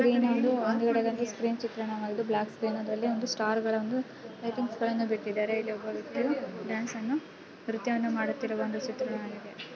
ಇದು ಒಂದು ಸ್ಕ್ರೀನ್ ಚಿತ್ರಣವಾಗಿದೆ ಬ್ಲಾಕ್ ಸ್ಕ್ರೀನ್ದಲ್ಲಿ ಒಂದು ಸ್ಟಾರ್ಗಳ ಒಂದು ಲೈಟಿಂಗ್ಸ್ ಗಳನ್ನು ಬಿಟ್ಟಿದ್ದಾರೆ ಇಲ್ಲಿ ಒಬ್ಬ ವ್ಯಕ್ತಿಯು ಡ್ಯಾನ್ಸನ್ನು ನೃತ್ಯವನ್ನು ಮಾಡುತ್ತಿರುವ ಒಂದು ಚಿತ್ರಣವಾಗಿದೆ.